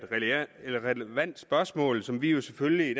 et relevant spørgsmål som vi vi selvfølgelig i